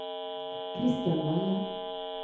Christian Valle